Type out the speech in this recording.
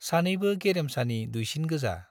सानैबो गेरेमसानि दुइसिन गोजा।